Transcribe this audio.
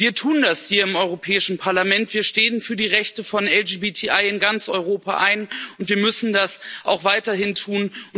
Wir tun das hier im Europäischen Parlament Wir stehen für die Rechte von LGBTI in ganz Europa ein, und wir müssen das auch weiterhin tun.